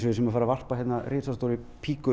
við séum að fara að varpa risastórri